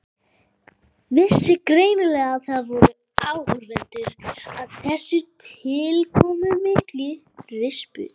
Vissi greinilega að það voru áhorfendur að þessari tilkomumiklu rispu.